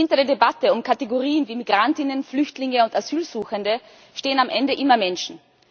Hinter der Debatte um Kategorien wie Migrantinnen, Flüchtlinge und Asylsuchende stehen am Ende immer Menschen.